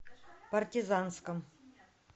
партизанском